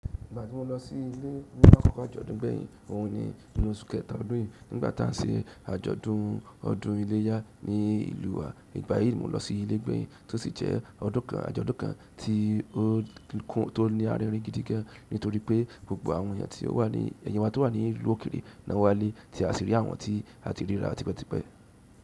Ìgbà tí mo lọ sí ilé nípa àkókò àjọ̀dún gbẹ̀yin, òhun ni inú oṣù kẹta ọdún yìí. Nígbà tí à ń se àjọ̀dún ọdún iléyá ní ìlú wa, nígbà yìí mo lọ sí ilé gbẹ̀yin tí ó sì jẹ́ ọdún kan àjọ̀dún kan tí ó kún tí ó ní arírin gidi gan nítorí pé gbogbo àwọn èèyàn tí ó wà ní èèyàn wa tó wà ní ìlú òkèèrè, lo wá ilé tí a sì rí àwọn tí a ti rí rárá tipẹ́ tipẹ́.